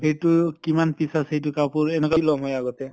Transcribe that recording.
এইটো কিমান piece আছে এইটো কাপোৰ এনকা লওঁ মই আগতে।